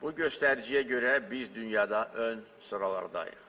Bu göstəriciyə görə biz dünyada ön sıralardayıq.